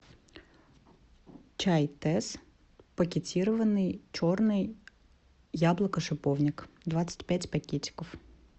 чай тесс пакетированный черный яблоко шиповник двадцать пять пакетиков